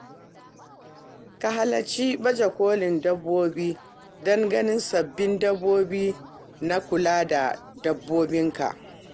Ka halarci baje kolin dabbobi don ganin sabbin dabaru na kula da dabbobi.